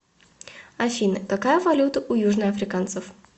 афина какая валюта у южноафриканцев